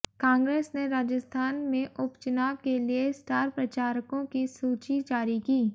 कांग्रेस ने राजस्थान में उपचुनाव के लिए स्टार प्रचारकों की सूची जारी की